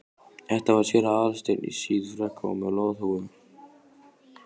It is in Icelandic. Þetta var séra Aðal steinn, í síðfrakka og með loðhúfu.